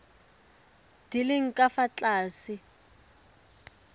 di leng ka fa tlase